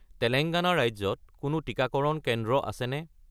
তেলেংগানা ৰাজ্যত কোনো টিকাকৰণ কেন্দ্ৰ আছেনে?